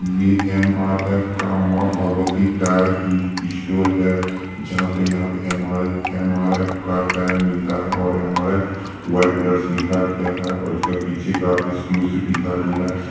ये एम-आर-एफ का Maa Bhagwati tyre store है जहां पे यहां पे एम-आर-एफ का टायर मिलता है और एम-आर-एफ व्हाइट कलर से लिखा गया हैं और इसके पीछे का एक्सक्लूसिव लिखा गया है |